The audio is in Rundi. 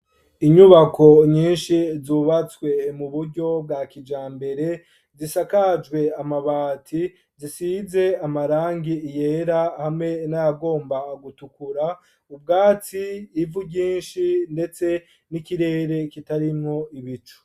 Inyubako nyinshi, zubatswe mu buryo, bwa kijambere; zisakajwe amabati, zisize amarangi yera, hamwe n'ayagomba gutukura; ubwatsi, ivu ryinshi, ndetse n'ikirere, kitarimwo ibicu.